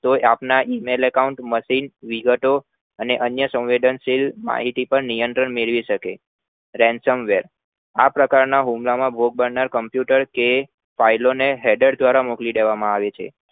કોઈ આપના email Account machine અમને અન્ય સંવેન્દનશીલ માહિતી થી પર નિયંત્રણ મેળવી શકે આ પ્રકારના હુમલા માં ભોગ બનાર Computer કે file ને header દ્વારા મોકલી દેવામાં આવે છે